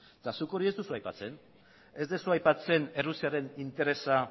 eta zuk hori ez duzu aipatzen ez duzu aipatzen errusiaren interesa